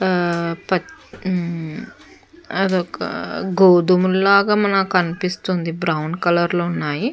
ఆ ప ఉమా అది ఒక గోధుమల్ లాగా మనకు అనిపిస్తుంది. బ్రౌన్ కలర్ లో ఉన్నాయి.